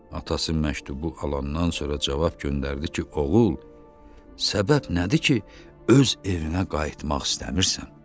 Atası məktubu alandan sonra cavab göndərdi ki, oğul, səbəb nədir ki, öz evinə qayıtmaq istəmirsən?